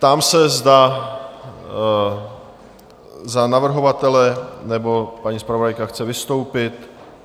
Ptám se, zda za navrhovatele nebo paní zpravodajka chce vystoupit?